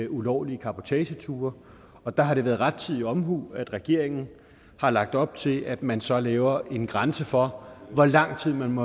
ulovlige cabotageture og der har det været rettidig omhu at regeringen har lagt op til at man så laver en grænse for hvor lang tid man